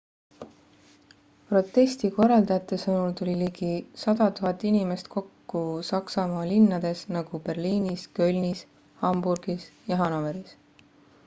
protesti korraldajate sõnul tuli ligi 100 000 inimest kokku saksamaa linnades nagu berliinis kölnis hamburgis ja hanoveris